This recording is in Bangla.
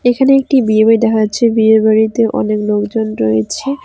এখানে একটি বিয়ে বাড়ি দেখা যাচ্ছে বিয়ে বাড়িতে অনেক লোকজন রয়েছে।